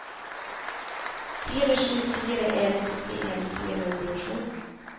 fire sju fire en syttien fire hundre og sju